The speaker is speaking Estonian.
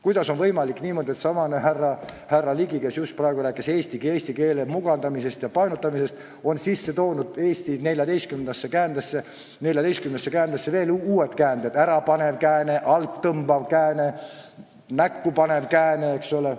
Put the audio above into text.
Kuidas on võimalik, et seesama härra Ligi, kes just praegu rääkis eesti keele mugandamisest ja painutamisest, on meie 14 käände kõrvale toonud uued käänded: ärapaneva käände, alttõmbava käände, näkkupaneva käände?